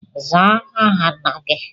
Zaa aha Nna gi!